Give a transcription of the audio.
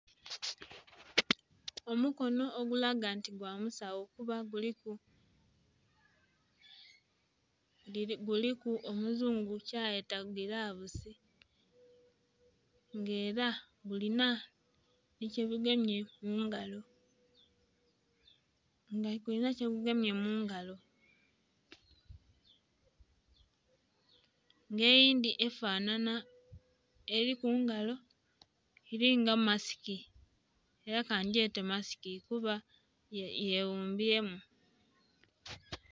Omukono ogulaga nti gwa musawo kuba guliku, guliku omuzungu kyayeta gilavusi nga ela gulinha nhi kyegugemye mu ngalo, nga gulinha kyegugemye mu ngalo, nga eyindhi efanhanha, eli kungalo, elinga masiki ela kangyete masiski kuba yeghumbyemu.